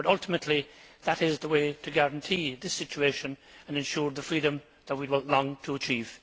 Ultimately, that is the way to guarantee the situation and ensure the freedom that we long to achieve.